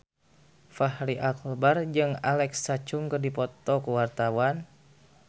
Fachri Albar jeung Alexa Chung keur dipoto ku wartawan